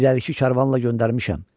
İrəlikli karvanla göndərmişəm.